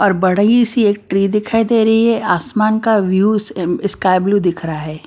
और बड़ई सी एक ट्रे दिखाई दे रही है आसमान का व्यूस स्काई ब्लू दिख रहा है।